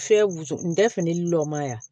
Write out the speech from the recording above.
Fɛn wusu ndɛfu lilɔn ma ɲi a ma